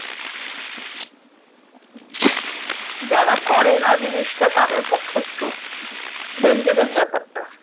যারা করে না জিনিসটা তাদের পক্ষে একটু dangerous ব্যাপারটা